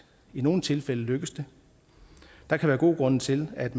i nogle tilfælde lykkes det der kan være gode grunde til at